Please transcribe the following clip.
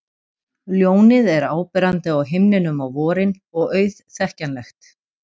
Ljónið er áberandi á himninum á vorin og auðþekkjanlegt.